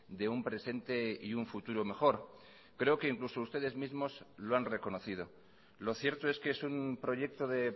de un presente y un futuro mejor creo que incluso ustedes mismos lo han reconocido lo cierto es que es un proyecto de